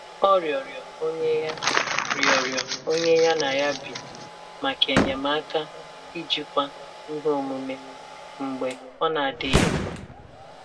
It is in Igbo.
Ọ rịọrọ onye ya rịọrọ onye ya na ya bi maka enyemaka ijikwa ihe omume mgbe ọ na-adịghị mma.